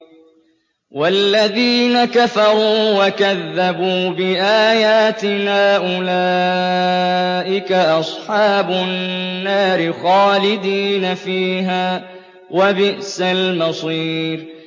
وَالَّذِينَ كَفَرُوا وَكَذَّبُوا بِآيَاتِنَا أُولَٰئِكَ أَصْحَابُ النَّارِ خَالِدِينَ فِيهَا ۖ وَبِئْسَ الْمَصِيرُ